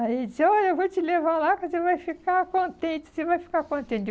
Aí ele disse, olha, eu vou te levar lá que você vai ficar contente, você vai ficar contente.